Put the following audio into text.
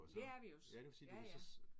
Det er vi også. Ja ja